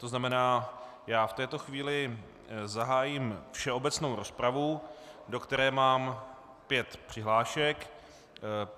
To znamená, já v této chvíli zahájím všeobecnou rozpravu, do které mám pět přihlášek.